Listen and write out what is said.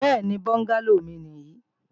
Bẹ́ẹ̀ni, bọ́ngálò mi nì yí